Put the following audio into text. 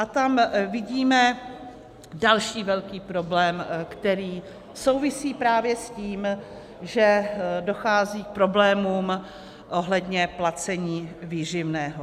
A tam vidíme další velký problém, který souvisí právě s tím, že dochází k problémům ohledně placení výživného.